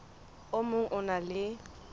o mong o na le